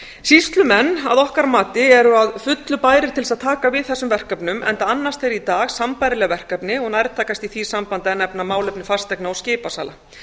sýslumenn eru að okkar mati að fullu bærir til að taka við þessum verkefnum enda annast þeir í dag sambærileg verkefni og er nærtækast í því sambandi að nefna málefni fasteigna og skipasala